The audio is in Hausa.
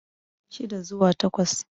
shida zuwa takwas